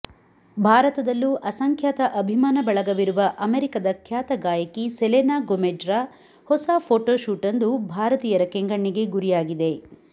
ಭಾರತದಲ್ಲೂಅಸಂಖ್ಯಾತ ಅಭಿಮಾನ ಬಳಗವಿರುವ ಅಮೆರಿಕದ ಖ್ಯಾತ ಗಾಯಕಿ ಸೆಲೇನಾ ಗೊಮೆಜ್ರ ಹೊಸ ಫೋಟೋಶೂಟ್ವೊಂದು ಭಾರತೀಯರ ಕೆಂಗಣ್ಣಿಗೆ ಗುರಿಯಾಗಿದೆ